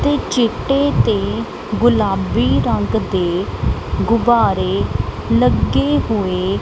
ਚਿੱਟੇ ਤੇ ਗੁਲਾਬੀ ਰੰਗ ਦੇ ਗੁਬਾਰੇ ਲੱਗੇ ਹੋਏ --